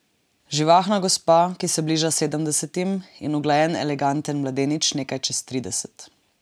Živahna gospa, ki se bliža sedemdesetim, in uglajen eleganten mladenič nekaj čez trideset.